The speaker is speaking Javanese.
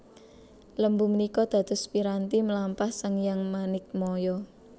Lembu menikå dados piranti mlampah Sang Hyang Manikmaya